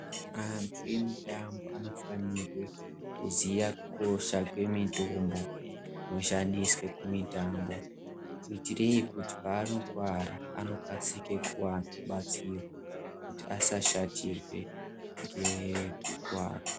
Antu emitambo anofanirwe kuziye kukosha kwemitombo inoshandiswe kumitambo kuitire kuti paanokuwara anokasike kuwana rubatsiro kuti asashatirwe ngekukuwara.